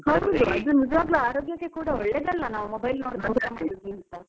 ಹೌದು ಅದು ನಿಜವಾಗಿ ಆರೋಗ್ಯಕ್ಕೆ ಕೂಡ ಒಳ್ಳೇದಲ್ಲ ನಾವ್ mobile ಅಂತ.